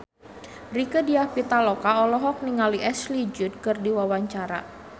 Rieke Diah Pitaloka olohok ningali Ashley Judd keur diwawancara